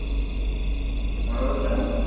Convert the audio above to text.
মনে পড়ছে না?